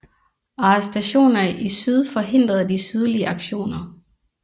Arrestationer i syd forhindrede de sydlige aktioner